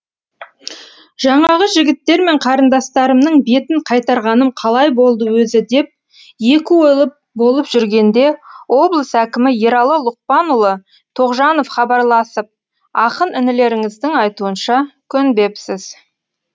жаңағы жігіттер мен қарындастарымның бетін қайтарғаным қалай болды өзі деп екі ойлы болып жүргенде облыс әкімі ералы лұқпанұлы тоғжанов хабарласып ақын інілеріңіздің айтуынша көнбепсіз